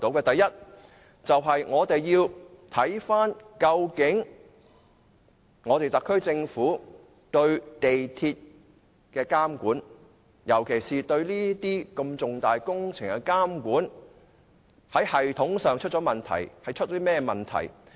第一，我們要看看究竟特區政府對港鐵公司的監管，尤其是對這些如此重大工程的監管，在系統上出現甚麼問題。